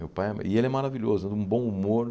Meu pai é e ele é maravilhoso, ele um bom humor.